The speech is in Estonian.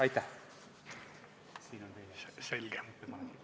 Aitäh!